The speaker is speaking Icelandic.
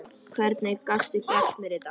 Hvernig gastu gert mér þetta?